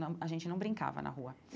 Não, a gente não brincava na rua.